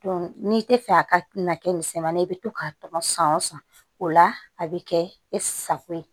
n'i tɛ fɛ a ka na kɛ misɛmani ye i bɛ to k'a tɔgɔ san o san o la a bɛ kɛ e sago ye